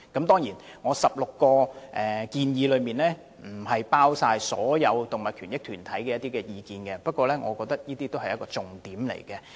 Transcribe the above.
當然，這16項建議亦未必包括所有動物權益團體的意見，不過我認為修正案內容已涵蓋各個重點。